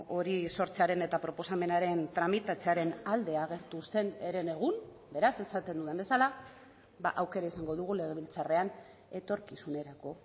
hori sortzearen eta proposamenaren tramitatzearen alde agertu zen herenegun beraz esaten dudan bezala aukera izango dugu legebiltzarrean etorkizunerako